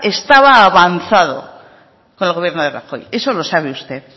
estaba avanzado con el gobierno de rajoy eso lo sabe usted